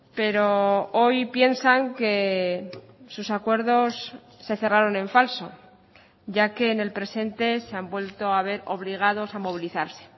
pero hoy piensan que sus acuerdos se cerraron en falso ya que en el presente se han vuelto a ver obligados a movilizarse